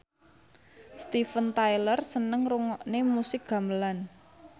Steven Tyler seneng ngrungokne musik gamelan